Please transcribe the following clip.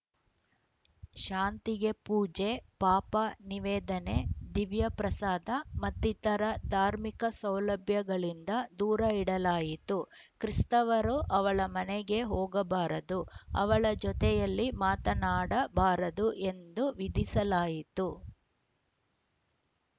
ಶಾಂತಿಗೆ ಪೂಜೆಪಾಪ ನಿವೇದನೆ ದಿವ್ಯ ಪ್ರಸಾದ ಮತ್ತಿತರ ಧಾರ್ಮಿಕ ಸೌಲಭ್ಯಗಳಿಂದ ದೂರ ಇಡಲಾಯಿತು ಕ್ರೀಸ್ತವರು ಅವಳ ಮನೆಗೆ ಹೋಗಬಾರದು ಅವಳಜೊತೆಯಲ್ಲಿ ಮಾತನಾಡ ಬಾರದು ಎಂದು ವಿಧಿಸಲಾಯಿತು